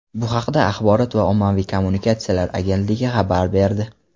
Bu haqda Axborot va ommaviy kommunikatsiyalar agentligi xabar berdi .